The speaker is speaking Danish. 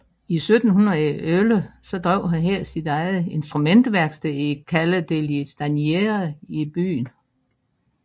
I 1711 drev han her sit eget instrumentværksted i Calle degli Stagneri i byen